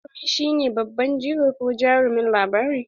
Jarumi shi ne babban jigo ko jarumin labari.